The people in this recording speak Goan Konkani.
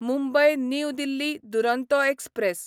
Mumbai new Delhi Duronto express